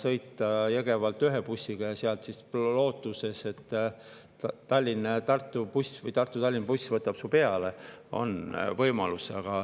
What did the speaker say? Kui Jõgevalt ühe bussiga Põltsamaale sõita ja seal siis loota, et Tallinna-Tartu või Tartu-Tallinna buss võtab peale, siis võib-olla on see võimalus.